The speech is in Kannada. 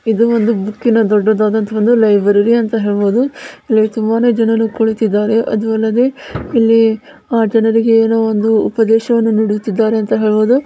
ಇದು ಒಂದು ಬುಕ್ಕಿನ ದೊಡ್ಡದಾದಂತ ಲೈಬ್ರರಿ ಅಂತ ಹೇಳಬಹುದು ಇಲ್ಲಿ ತುಂಬಾನೇ ಜನರು ಕುಲತಿದ್ದಾರೆ ಅದು ಅಲ್ಲದೆ ಆ ಜನರಿಗೆ ಏನೋ ಒಂದು ಉಪದೇಶವನ್ನು ನೀಡುತ್ತಿದ್ದಾರೆ ಅಂತ ಹೇಳಬಹುದು.